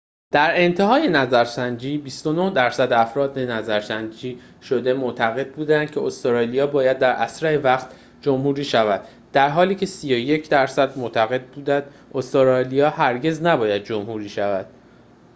در انتهای نظرسنجی ۲۹ درصد افراد نظرسنجی شده معتقد بودند که استرالیا باید در اسرع وقت جمهوری شود در حالی که ۳۱ درصد معتقد بودند استرالیا هرگز نباید جمهوری شود